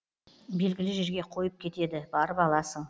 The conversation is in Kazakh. белгілі жерге қойып кетеді барып аласың